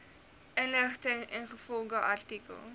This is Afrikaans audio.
inligting ingevolge artikel